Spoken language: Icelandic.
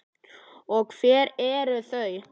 Og hver eru þau?